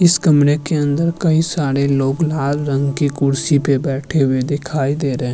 इस कमरे में कई सारे लोंग लाल रंग की कुर्सी पे बैठें हुये दिखाई दे रहें हैं।